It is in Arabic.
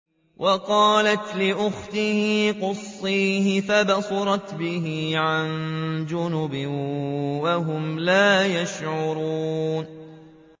وَقَالَتْ لِأُخْتِهِ قُصِّيهِ ۖ فَبَصُرَتْ بِهِ عَن جُنُبٍ وَهُمْ لَا يَشْعُرُونَ